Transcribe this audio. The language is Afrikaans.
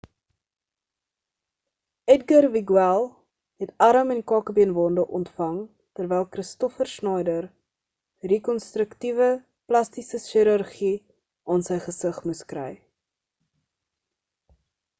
edgar veguilla het arm en kakebeenwonde ontvang terwyl kristoffer schneider rekonstruktiewe plastiese chirurgie aan sy gesig moes kry